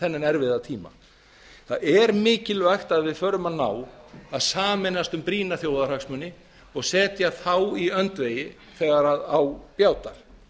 þennan erfiða tíma það er mikilvægt að við förum að ná að sameinast um brýna þjóðarhagsmuni og setja þá í öndvegi þegar á bjátar